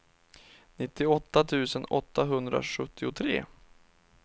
nittioåtta tusen åttahundrasjuttiotre